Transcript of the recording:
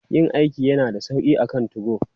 Yin aiki yana da sauƙi akan 2go.